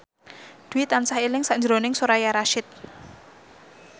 Dwi tansah eling sakjroning Soraya Rasyid